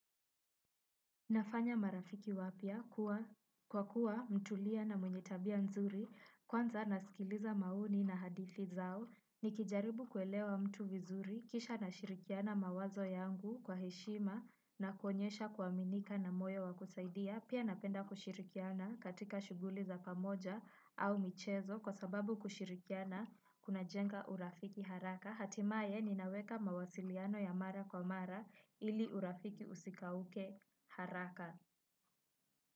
Nafanya marafiki wapya kwa kuwa mtulia na mwenye tabia nzuri kwanza nasikiliza maoni na hadithi zao nikijaribu kuelewa mtu vizuri kisha nashirikiana mawazo yangu kwa heshima na kuonyesha kuwaminika na moyo wakusaidia pia napenda kushirikiana katika shuguli za pamoja au michezo kwa sababu kushirikiana kuna jenga urafiki haraka hatimaye ninaweka mawasiliano ya mara kwa mara ili urafiki usikauke haraka.